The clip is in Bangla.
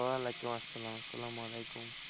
ওয়ালাইকুম আসসালাম, আসসালাম আলাইকুম।